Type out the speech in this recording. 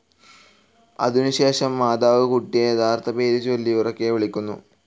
അതിനു ശേഷം മോത്തർ കുട്ടിയേ യഥാർത്ഥ പേരു ചൊല്ലി ഉറക്കെ വിളിക്കുന്നു.